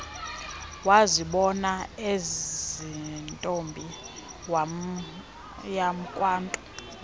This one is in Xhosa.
wazibona eyintombi yakwantu